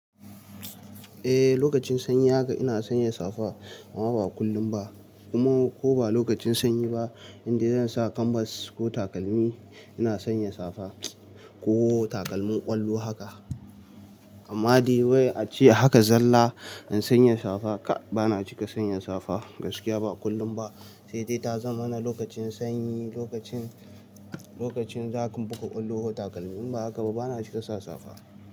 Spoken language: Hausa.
Eh, lokacin sanyi haka ina sanya safa amma ba kullum ba. Kuma koba lokacin sanyi ba idan zan sa kanbas ko takalmi, ina sanya safa ko takalmin ƙwallo haka. Amma dai wai ace haka zalla in sanya safa, ka bana cika sanya safa gaskiya ba kullum ba. Saidai ta zamana lokacin sanyi, lokacin, lokacin zaka buga ƙwallo ko takalmi. Inba hakaba bana cika sa safa.